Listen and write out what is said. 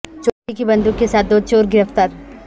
چوری کی بند وق کے ساتھ دو چور گرفتار